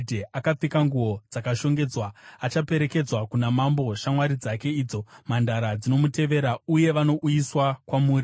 Akapfeka nguo dzakashongedzwa achaperekedzwa kuna mambo; shamwari dzake idzo mhandara dzinomutevera uye vanouyiswa kwamuri.